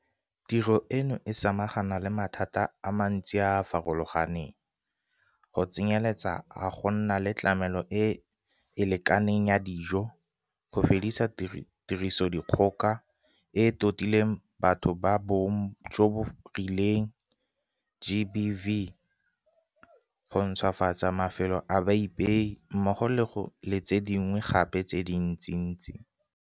Tiro eno e samagana le mathata a mantsi a a farologaneng, go tsenyeletsa a go nna le tlamelo e e lekaneng ya dijo, go fedisa Tirisodikgoka e e Totileng Batho ba Bong jo bo Rileng GBV, go ntšhwafatsa mafelo a baipei mmogo le tse dingwe gape tse dintsintsi.